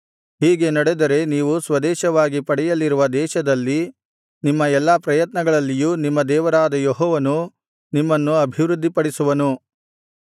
ಹೀಗೆ ನಡೆದರೆ ನೀವು ಸ್ವದೇಶವಾಗಿ ಪಡೆಯಲಿರುವ ದೇಶದಲ್ಲಿ ನಿಮ್ಮ ಎಲ್ಲಾ ಪ್ರಯತ್ನಗಳಲ್ಲಿಯೂ ನಿಮ್ಮ ದೇವರಾದ ಯೆಹೋವನು ನಿಮ್ಮನ್ನು ಅಭಿವೃದ್ಧಿಪಡಿಸುವನು